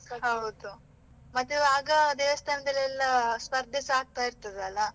ಹೌದು, ಮತ್ತೆ ಆಗ ದೇವಸ್ಥಾನದಲ್ಲೆಲ್ಲ ಸ್ಪರ್ಧೆ ಸಹ ಆಗ್ತಾ ಇರ್ತದೆ ಅಲ್ಲಾ.